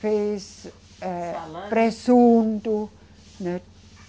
fez, eh. Salame. Presunto, né?